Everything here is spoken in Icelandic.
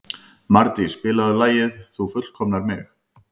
Mardís, spilaðu lagið „Þú fullkomnar mig“.